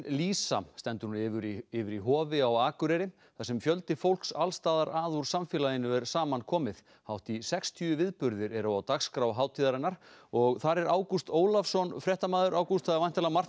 lýsa stendur nú yfir í yfir í Hofi á Akureyri þar sem fjöldi fólks alls staðar að úr samfélaginu er saman komið hátt í sextíu viðburðir eru á dagskrá hátíðarinnar og þar er Ágúst Ólafsson ágúst það er væntanlega margt